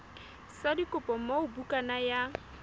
sa dikopo moo bukana ya